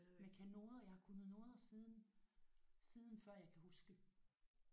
Men jeg kan noder. Jeg har kunnet noder siden siden før jeg kan huske